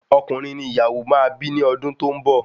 Ọkùnrin ni ìyàwó máa bi ni odun to n bọ